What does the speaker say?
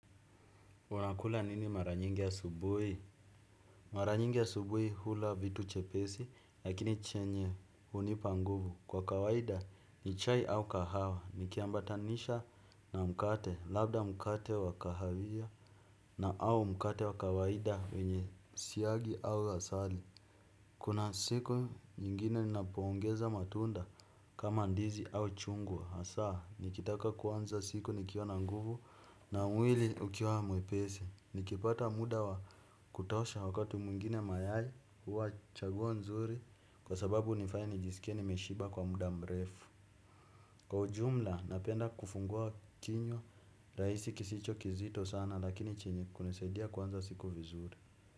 Unakula nini mara nyingi yasubuhi? Mara nyingi yasubuhi hula vitu chepesi, lakini chenye unipa nguvu. Kwa kawaida ni chai au kahawa, nikiambatanisha na mkate, labda mkate wa kahawia na au mkate wa kawaida wenye siagi au asali. Kuna siku nyingine ninapoungeza matunda kama ndizi au chungwa. Asa, nikitaka kuanza siku nikiwa na nguvu na mwili ukiwa mwepesi. Nikipata muda wa kutosha wakati muingine mayayi huwa chaguo nzuri kwa sababu nifanya nijisikie nimeshiba kwa muda mrefu. Kwa ujumla napenda kufungua kinywa, raisi kisicho kizito sana lakini chenye kunisedia kwanza siku vizuri.